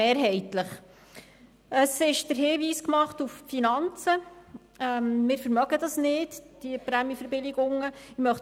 Der Hinweis auf die Finanzen wurde gemacht, demnach könnten wir uns diese Prämienverbilligungen nicht leisten.